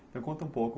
conta um pouco.